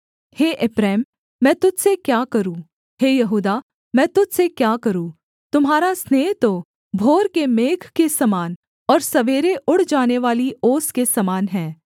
हे एप्रैम मैं तुझ से क्या करूँ हे यहूदा मैं तुझ से क्या करूँ तुम्हारा स्नेह तो भोर के मेघ के समान और सवेरे उड़ जानेवाली ओस के समान है